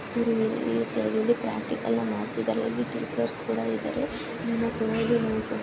ಪ್ರಾಕ್ಟಿಕಲ್ನ್ ಮಾಡ್ತಿದ್ದಾರೆ ಇಲ್ಲಿ ಟೀಚರ್ಸ ಕೂಡ ಇದಾರೆ .